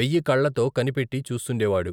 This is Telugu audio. వెయ్యికళ్ళతో కనిపెట్టి చూస్తుండేవాడు.